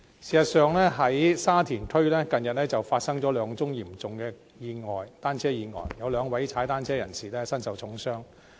事實上，沙田區近日發生兩宗嚴重的單車意外，有兩名踏單車人士身受重傷。